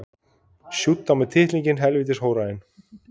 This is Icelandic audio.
Við erum með eiganda sem vill taka þetta lið hærra.